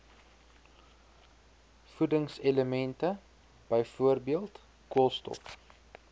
voedingselemente byvoorbeeld koolstof